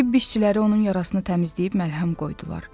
Tibbi işçiləri onun yarasını təmizləyib məlhəm qoydular.